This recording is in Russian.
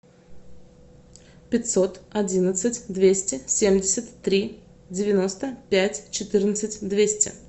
пятьсот одинадцать двести семьдесят три девяносто пять четырнадцать двести